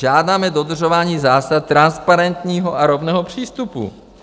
Žádáme dodržování zásad transparentního a rovného přístupu.